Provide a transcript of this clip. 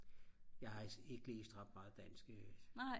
jeg har altså ikke læst ret meget dansk